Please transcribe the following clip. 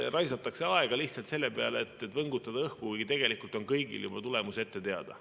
Raisatakse aega lihtsalt selle peale, et võngutada õhku, kuigi tegelikult on kõigil juba tulemus ette teada.